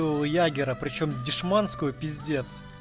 у ягера причём дешманскую пиздец